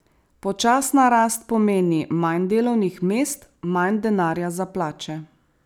Počasna rast pomeni manj delovnih mest, manj denarja za plače.